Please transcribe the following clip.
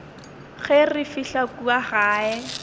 ge re fihla kua gae